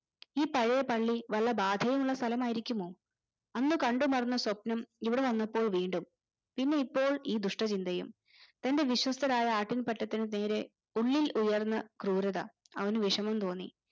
ഈ പഴേപള്ളി വല്ല ബാധയുള്ള സ്ഥലമായിരിക്കുമോ അന്ന് കണ്ടു മറന്ന സ്വപ്നം ഇവിടെവന്നപ്പോ വീണ്ടും ഇന്ന് ഇപ്പോൾ ഈ ദുഷ്ടചിന്തയും തന്റെ വിശ്വസ്തരായ ആട്ടിൻപറ്റത്തിന് നേരെ ഉള്ളിൽ ഉയർന്ന ക്രൂരത അവന് വിഷമം തോന്നി